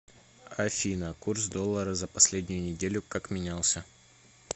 афина курс доллара за последнюю неделю как менялся